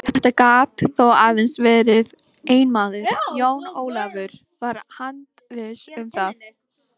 Þetta gat þó aðeins verið einn maður, Jón Ólafur var handviss um það.